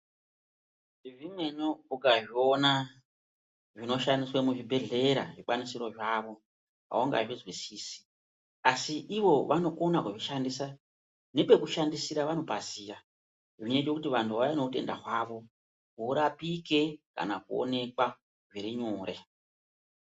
Zvimweni ukazviona zvinoshandiswa muzvibhodhlera zvikwanisiro zvavo aungazvizwisisi asi Ivo vandokona kuzvishandisa nepekushndisira vanopaziya zvinoita kuti vanhu vauya neutenda hwavo hurapike ka kuonekwa zvirinyore.